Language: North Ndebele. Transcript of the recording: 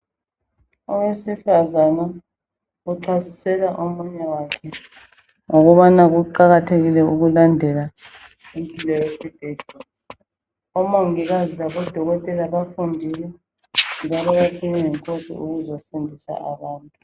Owesifazana uchasisela omunye wakhe ngokubana kuqakathekile ukulandela impilo yesibhedlela. Omongikazi labodokotela, bafundile , njalo bathunywe yinkosi ukuzosindisa abantu.